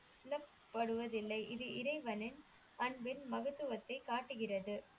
படுவதில்லை இது இறைவனின் அன்பின் மகத்துவத்தை காட்டுகிறது